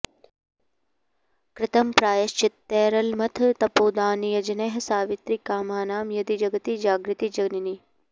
कृतं प्रायश्चित्तैरलमथ तपोदानयजनैः सवित्री कामानां यदि जगति जागर्ति जननी